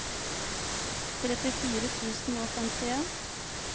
trettifire tusen og femtien